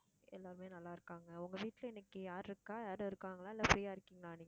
எல்லாருமே நல்லா இருக்காங்க. உங்க வீட்ல இன்னைக்கு யார் இருக்கா யாரும் இருக்காங்களா இல்லை, free ஆ இருக்கீங்களா நீங்க?